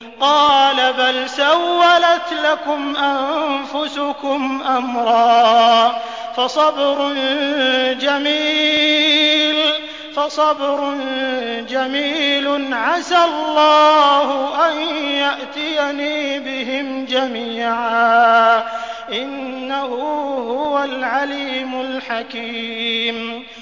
قَالَ بَلْ سَوَّلَتْ لَكُمْ أَنفُسُكُمْ أَمْرًا ۖ فَصَبْرٌ جَمِيلٌ ۖ عَسَى اللَّهُ أَن يَأْتِيَنِي بِهِمْ جَمِيعًا ۚ إِنَّهُ هُوَ الْعَلِيمُ الْحَكِيمُ